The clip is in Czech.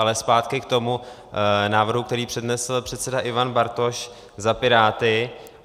Ale zpátky k tomu návrhu, který přednesl předseda Ivan Bartoš za Piráty.